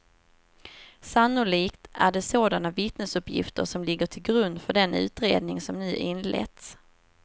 Sannolikt är det sådana vittnesuppgifter som ligger till grund för den utredning som nu inletts.